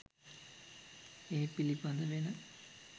ඒ පිළිබඳ වෙන